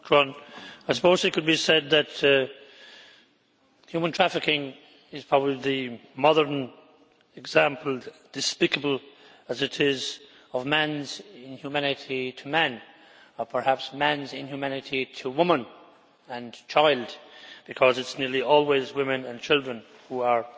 Mr President, it could be said that human trafficking is the modern example, despicable as it is, of man's inhumanity to man or perhaps man's inhumanity to woman and child, because it is nearly always women and children who are